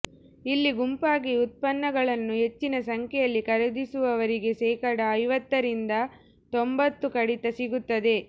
ಇಲ್ಲಿ ಗುಂಪಾಗಿ ಉತ್ಪನ್ನಗಳನ್ನು ಹೆಚ್ಚಿನ ಸಂಖ್ಯೆಯಲ್ಲಿ ಖರೀದಿಸುವವರಿಗೆ ಶೇಕಡಾ ಐವತ್ತರಿಂದ ತೊಂಭತ್ತು ಕಡಿತ ಸಿಗುತ್ತದೆ